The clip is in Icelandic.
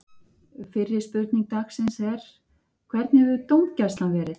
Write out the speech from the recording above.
Fyrri spurning dagsins er: Hvernig hefur dómgæslan verið?